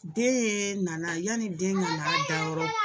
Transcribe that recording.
Den nana, yanni den ka na da yɔrɔ